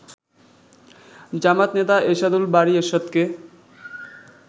জামায়াত নেতা এরশাদুল বারী এরশাদকে